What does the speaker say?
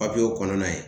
Papiyew kɔnɔna ye